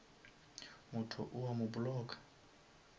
motho o a mo blocka